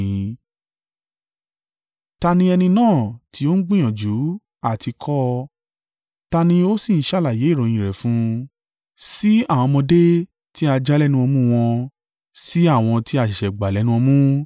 “Ta ni ẹni náà tí ó ń gbìyànjú àti kọ́? Ta ni ó sì ń ṣàlàyé ìròyìn in rẹ̀ fún? Sí àwọn ọmọdé tí a já lẹ́nu ọmú wọn, sí àwọn tí a ṣẹ̀ṣẹ̀ gbà lẹ́nu ọmú.